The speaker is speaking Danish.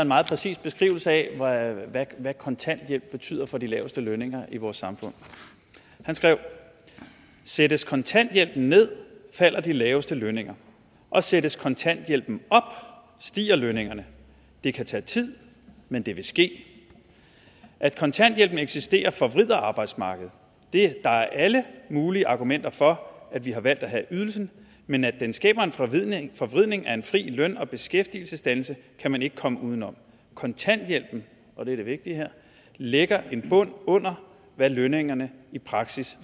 meget præcis beskrivelse af af hvad kontanthjælp betyder for de laveste lønninger i vores samfund han skrev sættes kontanthjælpen ned falder de laveste lønninger og sættes kontanthjælpen op stiger lønningerne det kan tage tid men det vil ske at kontanthjælpen eksisterer forvrider arbejdsmarkedet der er alle mulige argumenter for at vi har valgt at have ydelsen men at den skaber en forvridning forvridning af en fri løn og beskæftigelsesdannelse kan man ikke komme udenom kontanthjælpen og det er det vigtige her lægger en bund under hvad lønningerne i praksis